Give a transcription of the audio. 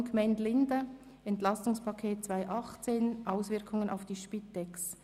Viertens: Gemeinde Linden: «Entlastungspaket 2018 – Auswirkungen auf die Spitex».